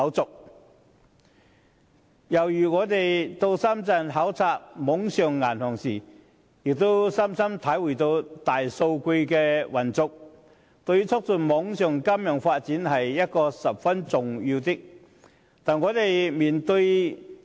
再舉一個例子，我們到深圳考察網上銀行，深深體會到大數據的運用，對促進網上金融發展十分重要。